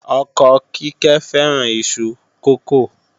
Ọkọ Kíkẹ́ fẹ́ràn iṣu kókò